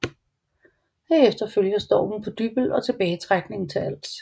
Herefter følger stormen på Dybbøl og tilbagetrækningen til Als